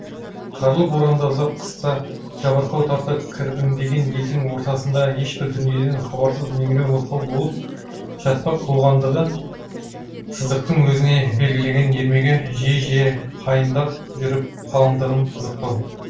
қарлы боранды ұзақ қыста жабырқау тартып кірбіңдеген елдің ортасында ешбір дүниеден хабарсыз меңіреу мылқау болып жатпақ болғандағы сыздықтың өзіне белгіленген ермегі жиі жиі қайындап жүріп қалыңдығын қызықтау